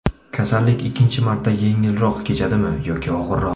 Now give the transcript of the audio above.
Kasallik ikkinchi marta yengilroq kechadimi yoki og‘irroq?